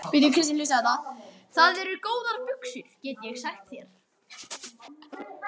Það eru góðar buxur, get ég sagt þér.